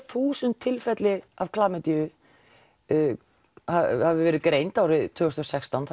þúsund tilfelli af klamydíu hafi verið greind árið tvö þúsund og sextán